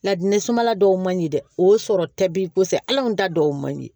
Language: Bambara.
Ladili sumala dɔw man ɲi dɛ o sɔrɔ ta b'i kɔsɛ allɔn anw ta dɔw man ɲi